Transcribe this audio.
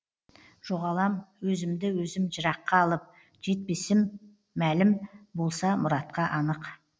жоғалам өзімді өзім жыраққа алып жетпесім мәлім болса мұратқа анық